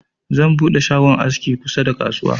Zan buɗe shagon aski kusa da kasuwa.